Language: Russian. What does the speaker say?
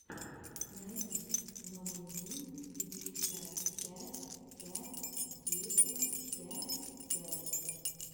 найди номэдюпятьдесятпятьпятьдесяпятьпять